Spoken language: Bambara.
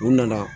U nana